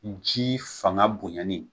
Jii fanga bonyani